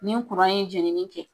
Ni ye jenini kɛ